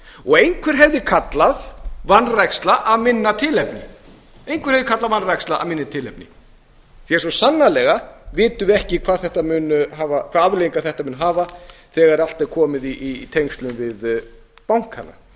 og einhver hefði kallað vanræksla af minna tilefni því svo sannarlega vitum við ekki hvaða afleiðingar þetta mun hafa þegar allt er komið í tengslum við bankana